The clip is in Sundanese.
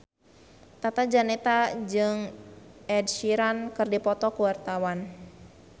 Tata Janeta jeung Ed Sheeran keur dipoto ku wartawan